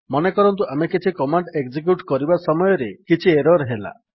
ମନେକରନ୍ତୁ ଆମେ କିଛି କମାଣ୍ଡ୍ ଏକଜିକ୍ୟୁଟ୍ କରିବା ସମୟରେ କିଛି ଏରର୍ ହେଲା